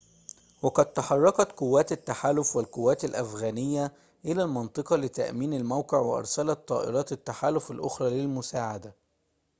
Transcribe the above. وقد تحركت قوات التحالف والقوات الأفغانية إلى المنطقة لتأمين الموقع وأرسلت طائرات التحالف الأخرى للمساعدة